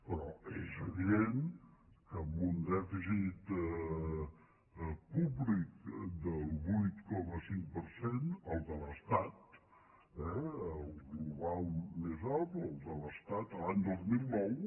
però és evident que amb un dèficit públic del vuit coma cinc per cent el de l’estat eh el global més alt el de l’estat l’any dos mil nou